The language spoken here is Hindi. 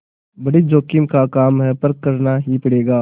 बड़ी जोखिम का काम है पर करना ही पड़ेगा